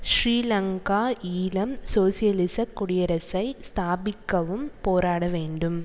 ஸ்ரீலங்கா ஈழம் சோசியலிசக் குடியரசை ஸ்தாபிக்கவும் போராட வேண்டும்